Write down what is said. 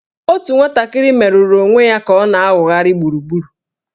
Otu nwatakịrị merụrụ onwe ya ka ọ na-awụgharị gburugburu